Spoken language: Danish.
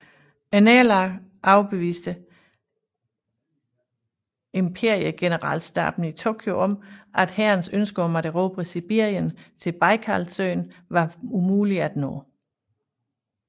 Nederlaget overbeviste imperiegeneralstaben i Tokyo om at hærens ønsker om at erobre Sibirien til Bajkalsøen var umulige at opnå